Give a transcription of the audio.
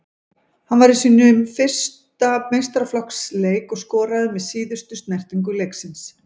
Hann var í sínum fyrsta meistaraflokksleik og skoraði með síðustu snertingu leiksins.